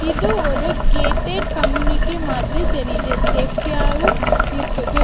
இது ஒரு gated community மாதிரி தெரியுது சேஃப்டியாவும் இருக்குது.